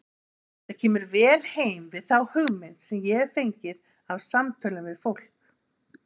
Þetta kemur vel heim við þá hugmynd sem ég hef fengið af samtölum við fólk.